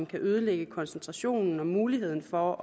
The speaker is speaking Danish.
kan ødelægge koncentrationen og mulighed for